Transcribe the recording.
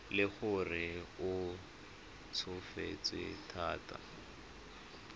le gore o tsofetse thata